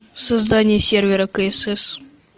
создание сервера ксс